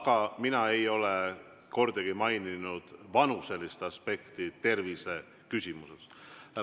Aga mina ei ole kordagi maininud vanuselist aspekti tervise küsimuses.